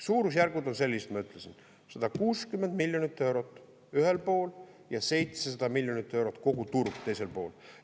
Suurusjärgud on sellised, ma ütlesin: 160 miljonit eurot ühel pool ja 700 miljonit eurot, kogu turg, teisel pool.